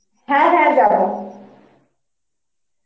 হ্যাঁ হ্যাঁ যাবো